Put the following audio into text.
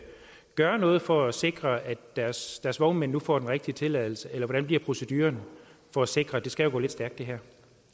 gøre noget for at sikre at deres deres vognmænd nu får den rigtige tilladelse eller hvordan bliver proceduren for at sikre det skal jo gå lidt stærkt